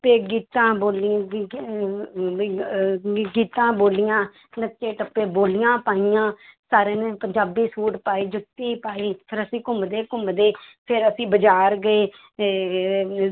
ਤੇ ਗੀਤਾਂ ਬੋਲੀਆਂ ਵੀ ਗੀਤਾਂ ਬੋਲੀਆਂ ਨੱਚੇ ਟੱਪੇ ਬੋਲੀਆਂ ਪਾਈਆਂ ਸਾਰਿਆਂ ਨੇ ਪੰਜਾਬੀ ਸੂਟ ਪਾਏ ਜੁੱਤੀ ਪਾਈ, ਫਿਰ ਅਸੀਂ ਘੁੰਮਦੇ ਘੁੰਮਦੇ ਫਿਰ ਅਸੀਂ ਬਾਜ਼ਾਰ ਗਏ ਤੇ